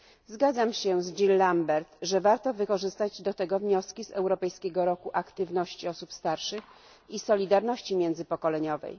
Zgadzam się z Jean Lambert, że warto wykorzystać do tego wnioski z Europejskiego Roku Aktywności Osób Starszych i Solidarności Międzypokoleniowej.